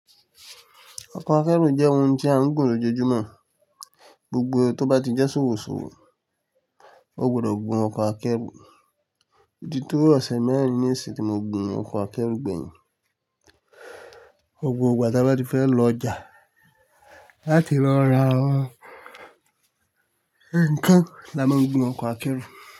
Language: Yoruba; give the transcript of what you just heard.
Ọkọ̀ akẹ́rù jẹ́ ohun tí a ń gun lójoojúmọ́, gbogbo tó bá ti jẹ́ ṣòwòṣòwò, o gbọdọ̀ gun ọkọ̀ akẹ́rù, o ti tó ọ̀sẹ̀ mẹ́rin ní èsì tí mo gun ọkọ̀ akẹ́rù gbẹ̀yìn, ọgbọ̀n ọgbà tí a bá ti fẹ́ lọ ọjà láti lọ ra ekan la máa ń gbin ọkọ̀ akẹ́rù.